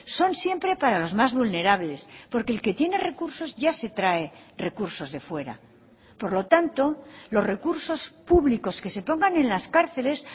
son siempre para los más vulnerables porque el que tiene recursos ya se trae recursos de fuera por lo tanto los recursos públicos que se pongan en las cárceles